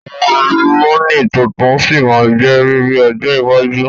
Àwọn àlùmọ́nì tuntun sí má jẹ́ riri ọjọ́ iwájú